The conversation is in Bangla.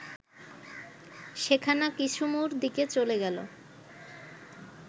সেখানা কিসুমুর দিকে চলে গেল